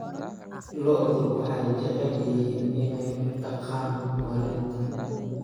Lo'du waxay jecel yihiin inay daaqaan maalinta.